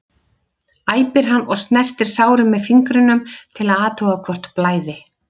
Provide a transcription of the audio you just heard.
æpir hann og snertir sárin með fingrunum til að athuga hvort blæði.